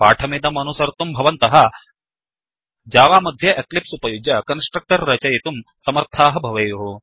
पाठमिदमनुसर्तुं भवन्तः जावामध्ये एक्लिप्स् उपयुज्य कन्स्ट्रकटर् रचयितुं समर्थाः भवेयुः